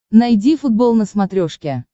найди футбол на смотрешке